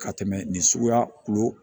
Ka tɛmɛ nin suguya kulo kan